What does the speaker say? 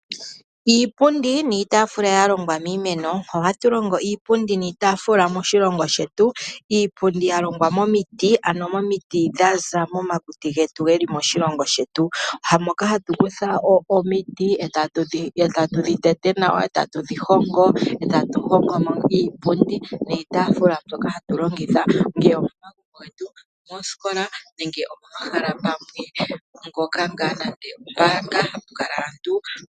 Iipundi niitafula ya longwa miimeno. Ohatu longo iipundi niitaafula moshilongo shetu, iipundi yalongwa momiti ano momiti dha za momakuti getu ge li moshilongo shetu. Moka hatu kutha omiti e tatu dhi tete nawa, e tatu dhi hongo, eta tu hongo mo iipundi niitaafula mbyoka hatu longitha, ngele omagumbo getu, omoosikola nenge omomahala ngoka ngaa hapu kala aantu.